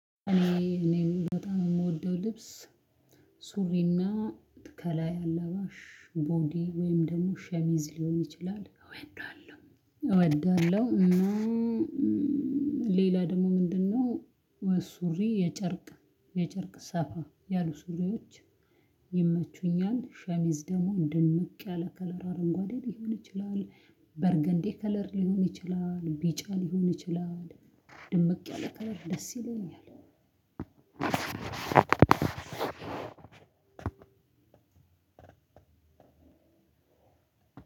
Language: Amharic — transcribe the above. እኔ እኔ በጣም የምወደው ልብስ ሱሪና ከላይ አላባሽ ቦዲ ወይም ደግሞ ሸሚዝ ሊሆን ይችላል እወዳለሁ። እወዳለሁ እና ሌላ ደግሞ ምንድነው? ሱሪ የጨርቅ የጨርቅ ሰፋ ያሉ ሱሪዎች ይመቹኛል። ሸሚዝ ደግሞ ድምቅ ያለ ከለር አረንጓዴ ሊሆን ይችላል በርገንዴ ከለር ሊሆን ይችላል ቢጫ ሊሆን ይችላል ድምቅ ያለ ከለር ደስ ይለኛል። አዎ